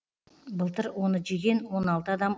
былтыр оны жеген он алты адам